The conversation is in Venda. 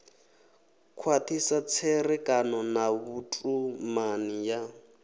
khwathisa tserekano na vhutumani ya